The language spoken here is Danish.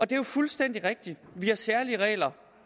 det er jo fuldstændig rigtigt at vi har særlige regler